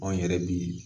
Anw yɛrɛ bi